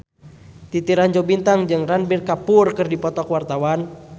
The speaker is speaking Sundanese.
Titi Rajo Bintang jeung Ranbir Kapoor keur dipoto ku wartawan